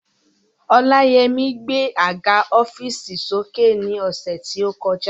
Ọláyẹmí gbé àga ọ́fììsì sókè ní ọ̀sẹ̀ tí ó kọjá